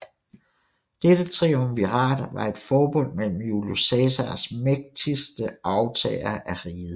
Dette triumvirat var et forbund mellem Julius Cæsars mægtigste arvtagere af riget